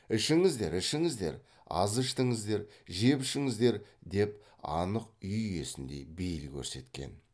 ішіңіздер ішіңіздер аз іштіңіздер жеп ішіңіздер деп анық үй иесіндей бейіл көрсеткен